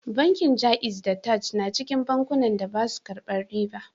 Bankin Jaiz da Taj na cikin bankunan da ba su karban riba